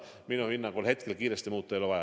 Minu hinnangul hetkel midagi kiiresti muuta ei ole vaja.